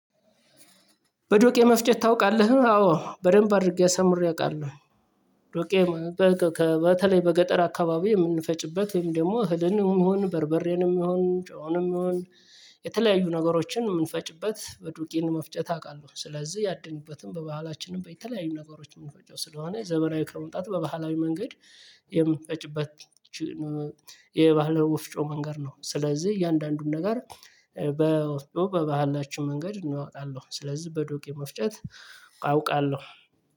በዶቄ መፍጨት ታውቃለህ? አዎ በደንብ አድርጌ አሳምሬ አውቃለሁ ዶቄ በተለይ በገጠር አካባቢ የምንፈጭበት ደግሞ እህልንም ሆን በርበሬንም ሆን ጮውንም ሆን የተለያዩ ነገሮችን የምንፈጭበት በዱቄን መፍጨት አውቃለሁ ስለዚህ ያድንበትም በባህላችንም በተለያዩ ነገሮች ምን ፈጨው ስለሆነ ዘመናዊ ከመምጣት በባህላዊ መንገድ የምንፈጭበት ይቺን የባህል ወፍጮ መንገድ ነው ስለዚህ እያንዳንዱን ነገር በወፍጮ በባህላችን መንገድ እናወጣለን ስለዚህ በዶቄ መፍጨት አውቃለሁ